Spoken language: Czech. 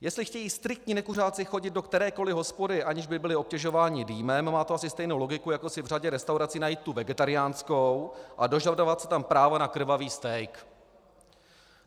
Jestli chtějí striktní nekuřáci chodit do kterékoliv hospody, aniž by byli obtěžováni dýmem, má to asi stejnou logiku, jako si v řadě restaurací najít tu vegetariánskou a dožadovat se tam práva na krvavý steak.